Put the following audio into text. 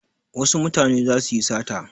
Wasu mutane za su yi sata.